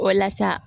Walasa